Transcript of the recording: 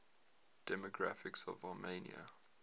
demographics of armenia